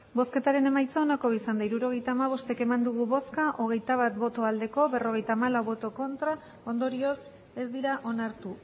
hirurogeita hamabost eman dugu bozka hogeita bat bai berrogeita hamalau ez ondorioz ez dira onartu